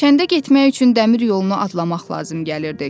Kəndə getmək üçün dəmir yolunu adlamaq lazım gəlirdi.